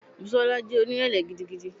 Busola jẹ́ onírẹ̀lẹ̀ gidigidi.